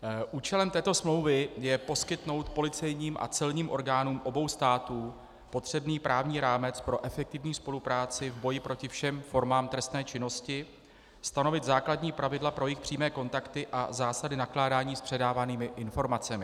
Účelem této smlouvy je poskytnout policejním a celním orgánům obou států potřebný právní rámec pro efektivní spolupráci v boji proti všem formám trestné činnosti, stanovit základní pravidla pro jejich přímé kontakty a zásady nakládání s předávanými informacemi.